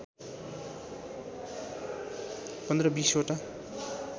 १५ २० वटा